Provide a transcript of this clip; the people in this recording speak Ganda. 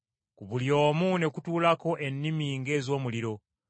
Ku buli omu ne kutuulako ennimi ng’ez’omuliro.